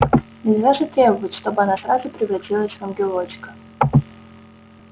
нельзя же требовать чтобы она сразу превратилась в ангелочка